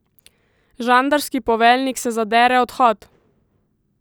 Žandarski poveljnik se zadere Odhod!